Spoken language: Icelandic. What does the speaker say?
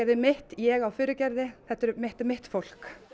mitt ég á Furugerði þetta er mitt er mitt fólk